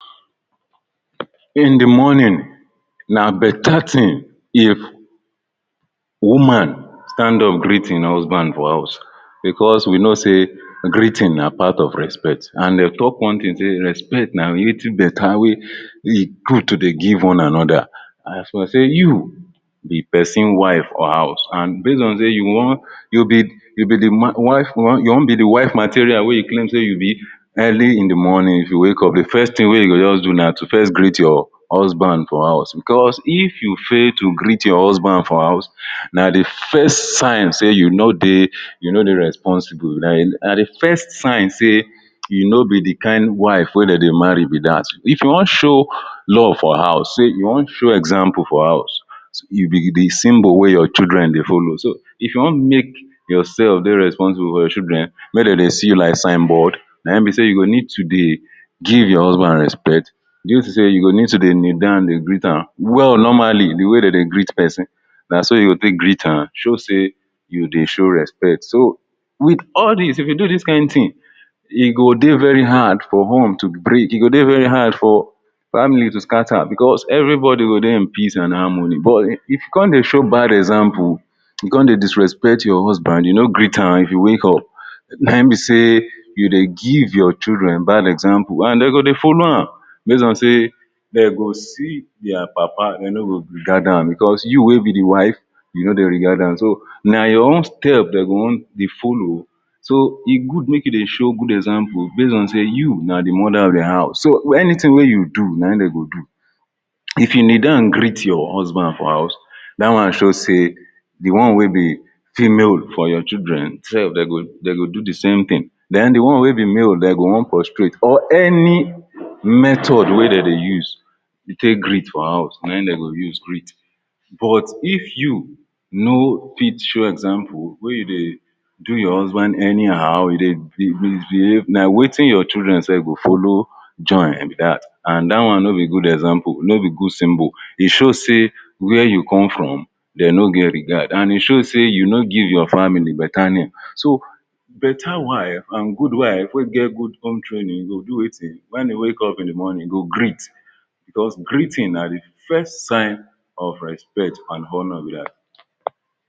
In the morning, na better thing if woman stand up greet im husband for house because we know say greeting na part of respect and dey talk one thing say respect na wetin better wey e good to dey give one another as per say you the person wife or? base on say you wan you be you be the wife you wan be wife material wey you claim say you be early in the morning if you wake up the first thing wey you go just do na to first greet your husband for house because if you fail to greet your husband for house, na the first sign say you no dey you no dey you no dey responsible like na the first sign say you no be the kain wife wey dem dey marry be dat. If you wan show love for house say you wan show example for house. You be the symbol wey your children dey follow. if you wan make yourself dey responsible for your children, wey dem dey see you like signboard, na im be say you go need to dey give your husband respect due to say you go need to dey kneel down dey greet am well normally the way dem dey greet person na so you go take greet am to show say you dey show respect so, wit all dis, if you do dis kain thing, e go dey very hard for home to break, e go dey very hard for family to scatter because everybody go dey in peace and harmony but if you come dey show bad example, you come dey disrespect your husband, you no greet am if you wake you come dey disrespect your husband, you no greet am if you wake up na im be say you dey give your children bad example and dey go dey follow am base on say dey go see their papa dey no go regard am because you wey be the wife, you no dey regard am. So na your own step dey go wan dey follow. So e good make you dey show good example base on say you na the mother of the house. So anything wey you do na im dem go do. If you kneel down greet your husband for house, dat one show say the one wey be female for your children sef dey go dey do the same thing. Den the one wey be male, dey go wan prostrate or any method wey dem dey use to take greet for house na im dey go use greet but if you no fit show example wey you dey do your husband anyhow you dey misbehave na wetin your children sef go follow join be dat and dat one no be good example, no be good symbol. e show say where you come from E show say where you come from, dey no get regard and e show say you no give your family better name. So, So better wife and good wife wey get good home training go do wetin wen dey wake in the morning, go greet because greeting na the first sign first sign of respect and honor be dat.